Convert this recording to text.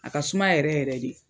A ka suma yɛrɛ yɛrɛ de.